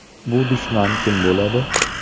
Bu dushman kim bo‘ladi?